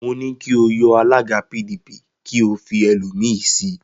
Mo ní kí o yọ alága PDP kí ó fi ẹlòmíì sí i.